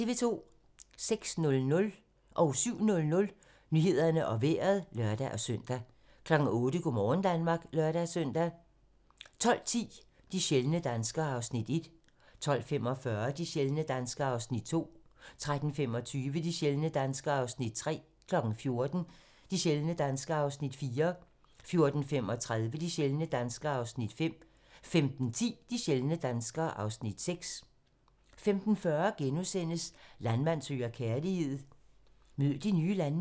06:00: Nyhederne og Vejret (lør-søn) 07:00: Nyhederne og Vejret (lør-søn) 08:00: Go' morgen Danmark (lør-søn) 12:10: De sjældne danskere (Afs. 1) 12:45: De sjældne danskere (Afs. 2) 13:25: De sjældne danskere (Afs. 3) 14:00: De sjældne danskere (Afs. 4) 14:35: De sjældne danskere (Afs. 5) 15:10: De sjældne danskere (Afs. 6) 15:40: Landmand søger kærlighed - mød de nye landmænd *